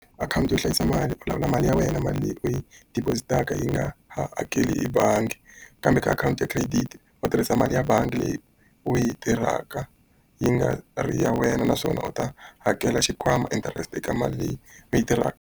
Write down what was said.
Akhawunti yo hlayisa mali u lawula mali ya wena, mali leyi u yi deposit-taka nga yi nga ha hakeli hi bangi. Kambe ka akhawunti ya credit, u tirhisa mali ya bangi leyi u yi tirhaka yi nga ri ya wena, naswona u ta hakela xikwama interest eka mali leyi leyi tirhaka.